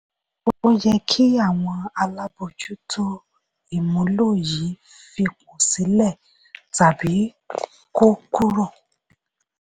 ó yẹ kí àwọn alábojútó ìmúlò yìí f'ipò sílẹ tàbí kó kúrò.